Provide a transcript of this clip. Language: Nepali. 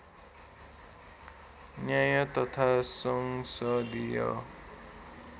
न्याय तथा संसदीय